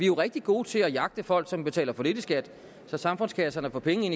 jo rigtig gode til at jagte folk som betaler for lidt i skat så samfundskasserne får penge